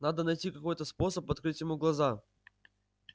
надо найти какой-то способ открыть ему глаза